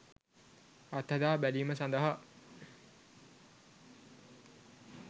අත්හදා බැලීම සඳහා